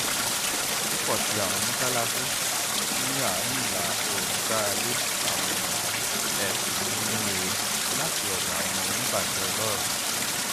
pupọ ti awọn mọṣalaṣi ni aarin ilaoorun gbarale awọn ẹbun oninurere lati ọdọ awọn onibajẹ ọlọrọ